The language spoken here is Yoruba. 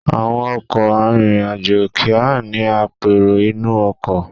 Àwọn ọkọ̀ arìnrìn-àjò kì í ní apèrò inú ọkọ̀.